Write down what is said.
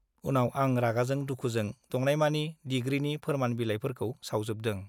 उनाव आं रागाजों दुखुजों दंनायमानि डिग्रीनि फोरमान बिलाइफोरखौ सावजोबदों ।